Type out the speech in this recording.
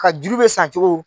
Ka juru bɛ san cogo